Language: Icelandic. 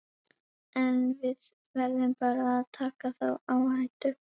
En við verðum bara að taka þá áhættu.